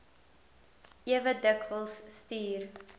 ewe dikwels stuur